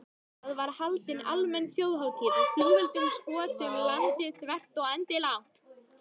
Það var haldin almenn þjóðhátíð og flugeldum skotið um landið þvert og endilangt.